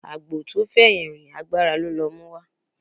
Àgbò tó fẹ̀yìn rìn agbára ló lọ múwá